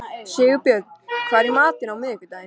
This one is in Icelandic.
Sigurbjörn, hvað er í matinn á miðvikudaginn?